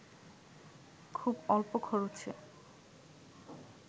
খুব অল্প খরচে